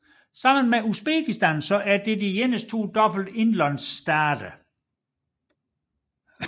Sammen med Uzbekistan er det de eneste to dobbelte indlandsstater